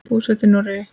Búsett í Noregi.